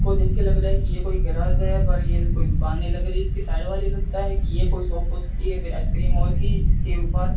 को देख के लग रहा है की ये कोई गराज है पर ये कोई दुकाने लग रही इसकी साइड वाली लगता है कि ये कोई शॉप हो सकती है की आइसक्रीम और की जिसके ऊपर --